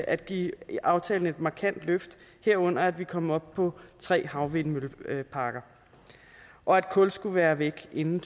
at give aftalen et markant løft herunder at vi kom op på tre havvindmølleparker og at kul skulle være væk inden